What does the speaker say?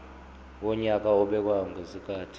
wonyaka obekwayo ngezikhathi